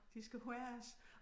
De skal højes